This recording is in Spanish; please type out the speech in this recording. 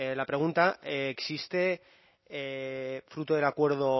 la pregunta existe fruto del acuerdo